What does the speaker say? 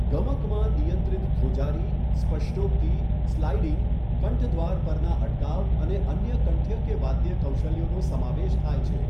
ગમકમાં નિયંત્રિત ધ્રુજારી, સ્પષ્ટોક્તિ, સ્લાઇડિંગ, કંઠદ્વાર પરના અટકાવ અને અન્ય કંઠ્ય કે વાદ્ય કૌશલ્યોનો સમાવેશ થાય છે.